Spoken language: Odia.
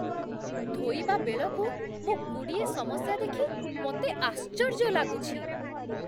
ଧୋଇବା ବେଳକୁ ମୁଁ ଗୁଡ଼ିଏ ସମସ୍ୟା ଦେଖି ମୋତେ ଆଶ୍ଚର୍ଯ୍ୟ ଲାଗୁଛି।